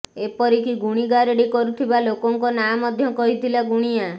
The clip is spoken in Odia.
ଏପରିକି ଗୁଣିଗାରେଡ଼ି କରୁଥିବା ଲୋକଙ୍କ ନାଁ ମଧ୍ୟ କହିଥିଲା ଗୁଣିଆ